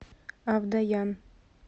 авдоян